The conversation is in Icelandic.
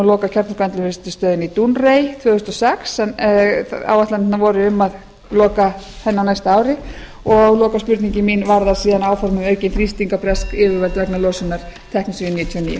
loka kjarnorkuendurvinnslustöðinni í dounreay árið tvö þúsund og sex en áætlanir voru um að loka henni á næsta ári og lokaspurningin mín varðar síðan áform um aukinn þrýsting á bresk yfirvöld vegna losunar teknesíum níutíu og níu